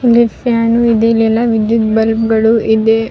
ಇಲ್ಲಿ ಫ್ಯಾನ್ ಇದೆ ಇಲ್ಲೆಲ್ಲಾ ವಿದ್ಯುತ್ ಬಲ್ಪ್ ಗಳು ಇದೆ-